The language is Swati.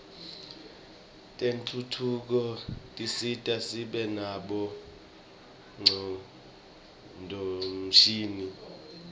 tentfutfuko tisisita sibe nabo ngcondvomshini